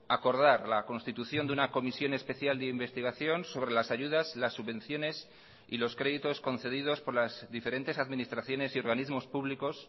acordar la constitución de una comisión especial de investigación sobre las ayudas las subvenciones y los créditos concedidos por las diferentes administraciones y organismos públicos